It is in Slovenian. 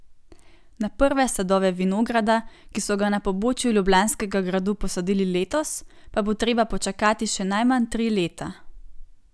Na prve sadove vinograda, ki so ga na pobočju Ljubljanskega gradu posadili letos, pa bo treba počakati še najmanj tri leta.